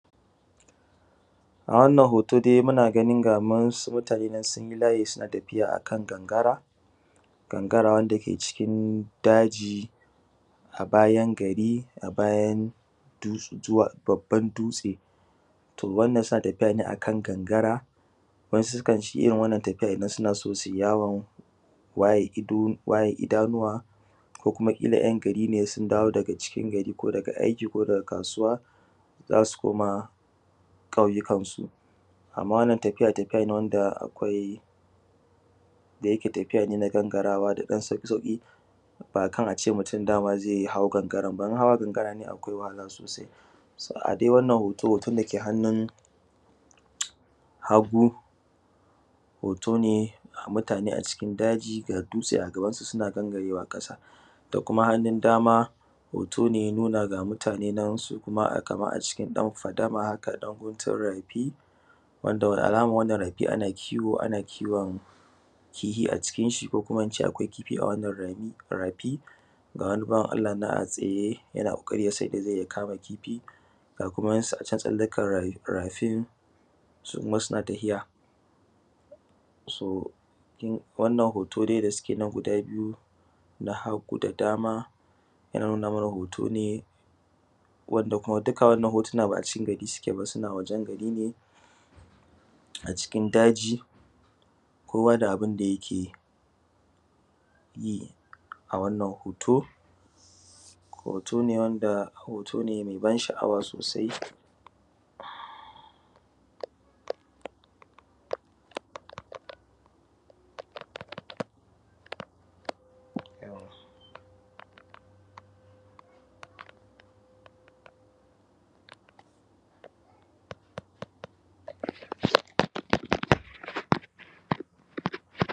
A wannan hoto dai muna ganin ga wasu mutane nan sun yi layi suna tafiya akan gangara, gangara wanda ke cikin daji a bayan gari a bayan babban dutse. Suna tafiya ne akan gangara wasu kanyi irin wannan tafiyan idan suna so su yi yawon waye ido, waye idanuwa ko kuma kila ’yan gari ne sun dawo daga cikin gari ko daga aiki ko daga kasuwa zasu koma ƙauyukan su. Amma wannan tafiya, tafiya ne wanda akwai da yake tafiya ne na gangarawa akwai ɗan sauƙi-sauƙi ba akan ace mutum zai hau gangaran ba, in hawa gangaran ne akwai wahala sosai. So a dai wannan hoto, hoton dake hannun hagu hoto ne mutane a cikin daji ga dutse a gaban su suna gangarawa ƙasa, da kuma hannun dama hoto ne ya nuna ga mutane na su kuma a cikin fadama haka ɗan guntun rafi wanda alama ya nuna anan kiwo, ana kiwon kifi ko kuma ince akwai kifi a wannan rafi. Ga wani bawan Allah nan a tsaye yana ƙoƙari yasan yanda zai kama kifi. Ga kuma wasu acan tsakiyar rafi su kuma suna tahiya. So wannan hoto dai suke nan na hagu da na dama yana nuna mana hoto ne wanda kuma duka wannan hotuna ba a cikin gari suke ba, suna wajen gari ne a cikin daji kowa da abin da yake yi. A wannan hoto hoto ne wanda mai ban sha’awa sosai.